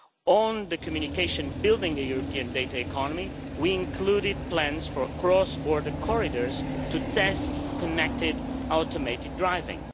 On the communication on building a new European data economy, we included plans for cross border corridors to test connected automated driving.